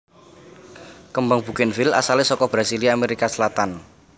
Kembang bugènvil asalé saka Brasilia Amerika Selatan